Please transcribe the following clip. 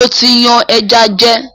Mo tí yan ẹja jẹ